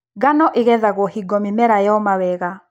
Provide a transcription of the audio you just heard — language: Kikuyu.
Ngano ĩgethagwo hingo mĩmera yoma wega.